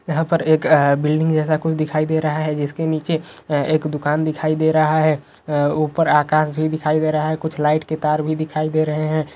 यहां पर एक अ बिल्डिंग जैसा कुछ दिखाई दे रहा है जिसके नीचे अ एक दुकान दिखाई दे रहा है अ ऊपर आकाश भी दिखाई दे रहा है कुछ लाइट के तार भी दिखाई दे रहे हैं।